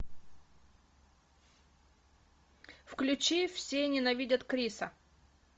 включи все ненавидят криса